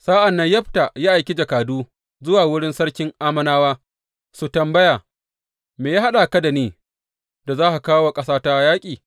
Sa’an nan Yefta ya aiki jakadu zuwa wurin sarkin Ammonawa su tambaya, Me ya haɗa ka da ni, da ka kawo wa ƙasata yaƙi?